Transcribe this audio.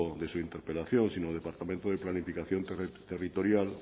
de su interpelación sino departamento de planificación territorial